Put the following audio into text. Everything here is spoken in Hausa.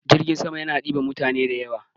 Jirgin sama yana ɗiban mutane da yawa.